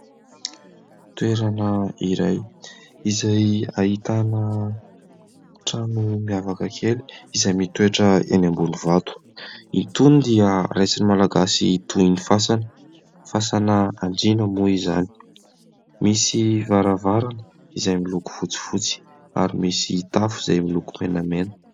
Toerana iray izay ahitana trano miavaka kely izay mitoetra eny ambony vato. Itony dia raisin'ny malagasy toy ny fasana, fasan' andriana moa izany. Misy varavarana izay miloko fotsifotsy ary misy tafo izay miloko menamena.